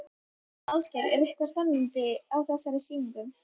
Ásgeir, er eitthvað spennandi á þessari sýningu?